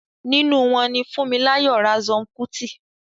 nínú wọn ni Funmilayo Ransome Kuti.